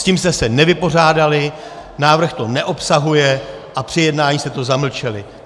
S tím jste se nevypořádali, návrh to neobsahuje a při jednání jste to zamlčeli.